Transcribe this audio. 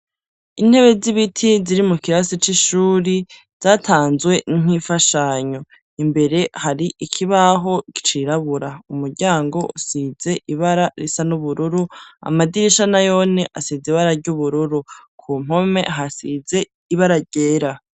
Intebe z'ibiti ziri mu kirasi c'ishuri zatanzwe nk' infashanyo. Imbere hari ikibaho icirabura, umuryango usize ibara risa n'ubururu, amadirisha nayone asize ibara ry' ubururu. Ku mpome hasize ibara ryera.